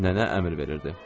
Nənə əmr verirdi.